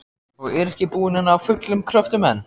Og er ekki búin að ná fullum kröftum enn.